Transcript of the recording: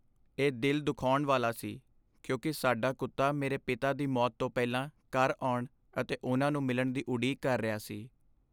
ਇਹ ਦਿਲ ਦੁਖਾਉਣ ਵਾਲਾ ਸੀ ਕਿਉਂਕਿ ਸਾਡਾ ਕੁੱਤਾ ਮੇਰੇ ਪਿਤਾ ਦੀ ਮੌਤ ਤੋਂ ਪਹਿਲਾਂ ਘਰ ਆਉਣ ਅਤੇ ਉਹਨਾਂ ਨੂੰ ਮਿਲਣ ਦੀ ਉਡੀਕ ਕਰ ਰਿਹਾ ਸੀ।